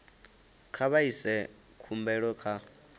kha vha ise khumbelo kha